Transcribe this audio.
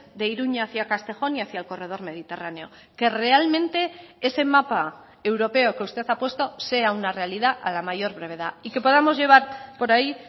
de iruña hacía castejón y hacia el corredor mediterráneo que realmente ese mapa europeo que usted ha puesto sea una realidad a la mayor brevedad y que podamos llevar por ahí